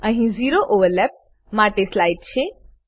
અહી zero overlap માટે slide છે